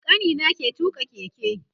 Kanina ke tuƙa keke